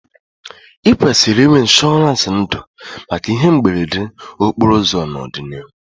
I kwesịrị inwe ịnshọransị ndụ maka ihe mberede okporo ụzọ n'ọdịnihu